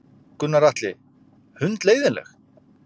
Gunnar Atli: Hundleiðinleg?